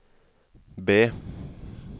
B